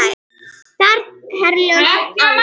Ferð Herjólfs aflýst